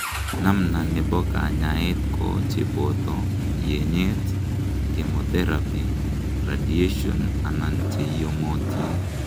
namna nebo kanyaet ko cheboto yenyet, chemotherapy, radiation anan cheiyomotin